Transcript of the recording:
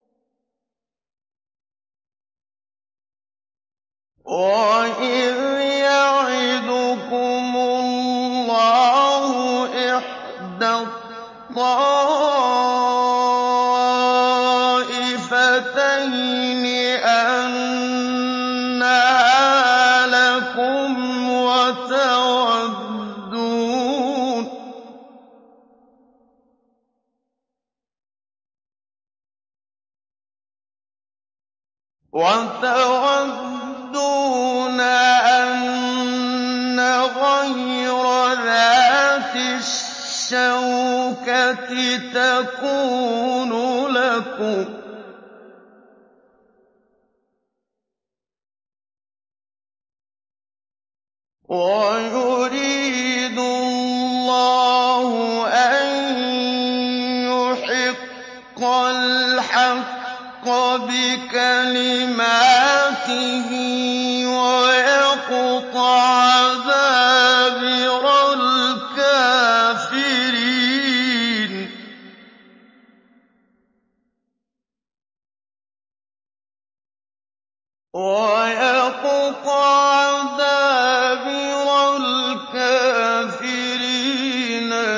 وَإِذْ يَعِدُكُمُ اللَّهُ إِحْدَى الطَّائِفَتَيْنِ أَنَّهَا لَكُمْ وَتَوَدُّونَ أَنَّ غَيْرَ ذَاتِ الشَّوْكَةِ تَكُونُ لَكُمْ وَيُرِيدُ اللَّهُ أَن يُحِقَّ الْحَقَّ بِكَلِمَاتِهِ وَيَقْطَعَ دَابِرَ الْكَافِرِينَ